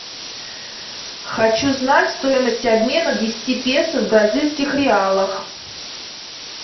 хочу знать стоимость обмена десяти песо в бразильских реалах